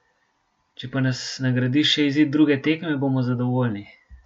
Če pa nas nagradi še izid druge tekme, bomo zadovoljni.